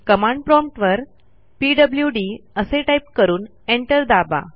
command prompt वर PWD असे type करून एंटर दाबा